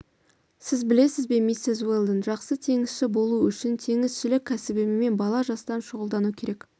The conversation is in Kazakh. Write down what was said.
сіз білесіз бе миссис уэлдон жақсы теңізші болу үшін теңізшілік кәсібімен бала жастан шұғылдану керек